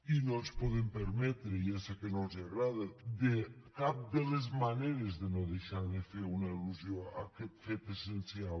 i no ens podem permetre ja sé que no els agrada de cap de les maneres de deixar de fer una al·lusió a aquest fet essencial